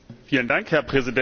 Herr Präsident!